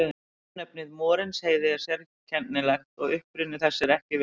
Örnefnið Morinsheiði er sérkennilegt og uppruni þess er ekki þekktur.